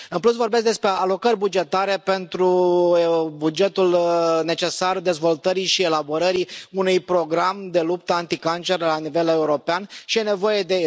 În plus, vorbesc despre alocări bugetare pentru bugetul necesar dezvoltării și elaborării unui program de luptă anticancer la nivel european și e nevoie de...